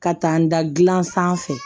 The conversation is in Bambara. Ka taa n da gilan sanfɛ